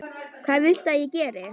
Hvað viltu að ég geri?